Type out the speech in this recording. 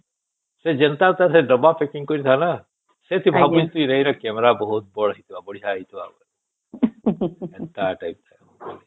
ସେ ଯେନ୍ତା ତା ଦବ checking କରିକି ନ ସେଠି ଭାବୁଛେ camera ବହୁତ ବଢିଆ ହେଇଚି ଆମେ ଏନ୍ତା type ର